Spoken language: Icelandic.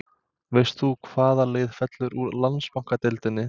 Veist þú hvaða lið fellur úr Landsbankadeildinni?